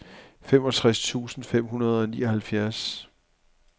femogtres tusind fem hundrede og nioghalvfjerds